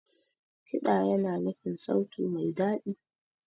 Kiɗa yana nufin sauti mai daɗi.